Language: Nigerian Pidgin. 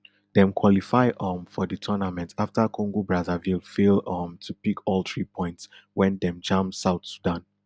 dem qualify um for di tournament afta congobrazzaville fail um to pick all three points wen dem jam south sudan